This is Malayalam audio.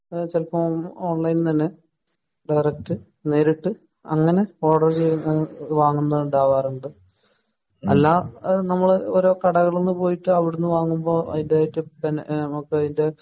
എഹ് ചെലപ്പോ ഓൺലൈനിൽ നിന്ന് തന്നെ ഡയറക്റ്റ് നേരിട്ട് അങ്ങിനെ ഓർഡർ ചെയ്ത് വാങ്ങുന്നതുണ്ടാവാറുണ്ട്. അല്ല നമ്മൾ ഓരോ കടകളിൽന്ന് പോയിട്ട് അവിടുന്ന് വാങ്ങുമ്പോ അതിന്റേതായിട്ട് നമുക്ക് അതിൻ്റെ